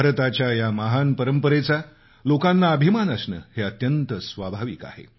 भारताच्या या महान परंपरेचा लोकांना अभिमान असणं हे अत्यंत स्वाभाविक आहे